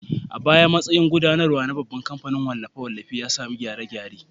A baya, matsayi na gudanarwa na babban kamfanin wallafe-wallafen ya sami gyare-gyare.